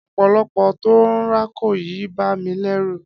Ọ̀pọ̀lọ́pọ̀lọ́ tó ń rákò yìí ń bà mí lẹ́rù.